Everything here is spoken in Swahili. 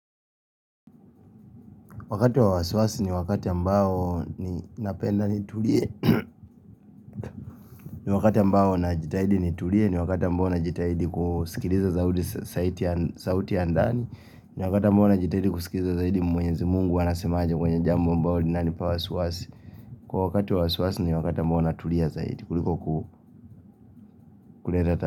Wakati wa wasiwasi ni wakati ambao ninapenda nitulie. Ni wakati ambao najitahidi nitulie, ni wakati ambao najitahidi kusikiliza sauti ya ndani. Ni wakati ambao najitahidi kusikiliza zaidi mwenyezi Mungu anasemaje kwenye jambo ambalo linanipa wasiwasi. Kwa wakati wa wasiwasi ni wakati ambao natulia zaidi kuliko kuleta ta.